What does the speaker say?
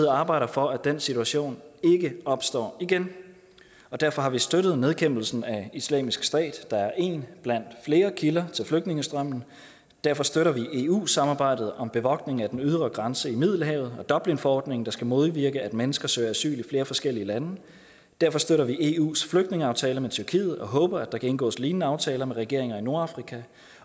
arbejder for at den situation ikke opstår igen derfor har vi støttet nedkæmpelsen af islamisk stat der er en blandt flere kilder til flygtningestrømmen derfor støtter vi eu samarbejdet om bevogtning af den ydre grænse i middelhavet og dublinforordningen der skal modvirke at mennesker søger asyl i flere forskellige lande derfor støtter vi eus flygtningeaftale med tyrkiet og håber at der kan indgås lignende aftaler med regeringer i nordafrika